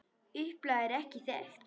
Upplag er ekki þekkt.